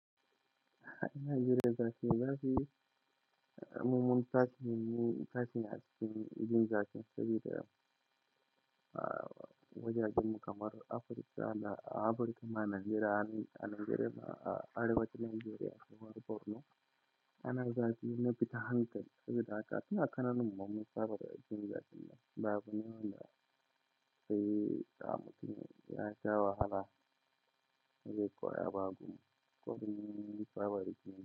Nigeria zakiyi zafi mummunan tasin, tasin askin jin zakin saboda, ah, wajajen kamar Afrika da Afrika ma Najeriya ne, a Najeriya ma arewacin Najeriya ko borno. Ana zafi na fitar hankali saboda haka ina kaman mun riga mun saba jin zafiin nan ba kamar wanda sai kamun ya sha wahala zai koya ba, saboda mu mun saba dashi.